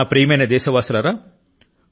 కానీ ప్రజలు అంతే బలం తో దానిని ఎదుర్కొన్నారు